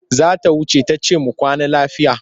Za ta wuce ta ce mu kwana lafiya.